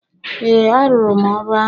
Ee, arụrụ m ọrụ ahụ.